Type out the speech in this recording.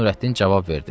deyə Nurəddin cavab verdi.